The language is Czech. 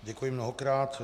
Děkuji mnohokrát.